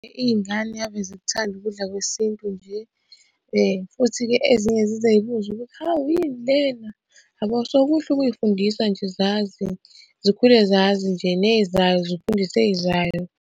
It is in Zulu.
Iy'ngane ave zikuthanda ukudla kwesintu nje, futhi-ke ezinye zize y'buze ukuthi, hawu yini lena? Yabo so, kuhle ukuy'fundisa nje zazi, zikhule nje ney'zayo zifundise ey'zayo.